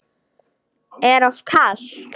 Er of kalt.